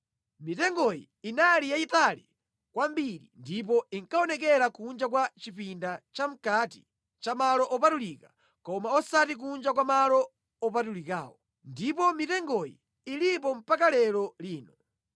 Mitengoyi inali yayitali kwambiri ndipo inkaonekera kunja kwa chipinda chamʼkati cha Malo Opatulika, koma osati kunja kwa Malo Opatulikawo; ndipo mitengoyi ilipo mpaka lero lino.